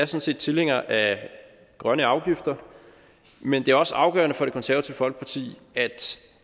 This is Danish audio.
set tilhængere af grønne afgifter men det er også afgørende for det konservative folkeparti at